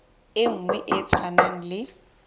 e nngwe e tshwanang le